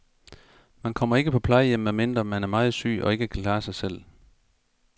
Man kommer ikke på plejehjem, medmindre man er meget syg og ikke kan klare sig selv.